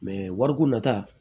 wariko nata